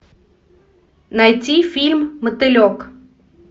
найти фильм мотылек